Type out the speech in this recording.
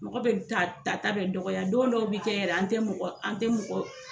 Mɔgɔ bɛ ta ta bɛ dɔgɔya don dɔw bɛ kɛ yɛrɛ an tɛ mɔgɔ an tɛ mɔgɔ